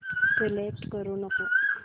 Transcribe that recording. select करू नको